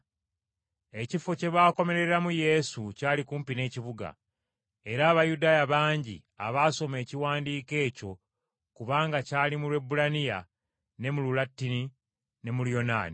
Ekifo kye baakomereramu Yesu kyali kumpi n’ekibuga, era Abayudaaya bangi abaasoma ekiwandiiko ekyo kubanga kyali mu Lwebbulaniya, ne mu Lulatini ne Luyonaani.